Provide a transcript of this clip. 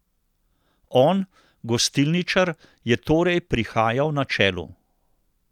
On, gostilničar, je torej prihajal na čelu.